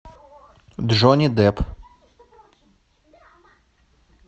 джонни депп